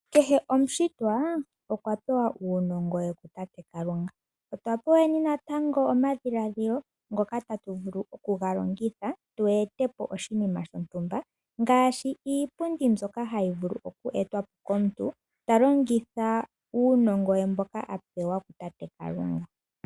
Kehe omushitwa okwa pewa uunongo we kutate Kalunga. Otwa peweni nantango omadhiladhilo ngoka tatu vulu okuga longitha, tu ete po oshinima shontumba ngaashi iipundi mbyoka hayi vulu oku etwa po komuntu ta longitha uunongo we mboka a pewa kutate Kalunga.